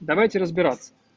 давайте разбираться